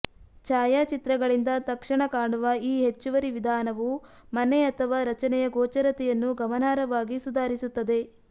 ಛಾಯಾಚಿತ್ರಗಳಿಂದ ತಕ್ಷಣ ಕಾಣುವ ಈ ಹೆಚ್ಚುವರಿ ವಿಧಾನವು ಮನೆ ಅಥವಾ ರಚನೆಯ ಗೋಚರತೆಯನ್ನು ಗಮನಾರ್ಹವಾಗಿ ಸುಧಾರಿಸುತ್ತದೆ